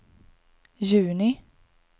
juni